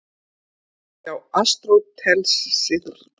Hjá Aristótelesi gætir einmitt ríkrar tilhneigingar til greinandi hugsunar.